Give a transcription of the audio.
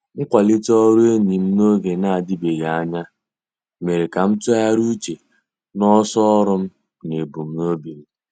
Mkwalite ọrụ enyi m n'oge na-adịbeghị anya, mere ka m tụgharịa uche na ọsọ ọrụ m na ebumnobi m.